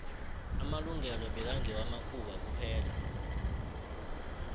amalungelo bekngewa makhuwa kuphela